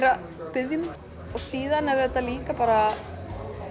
að biðja um síðan er auðvitað líka bara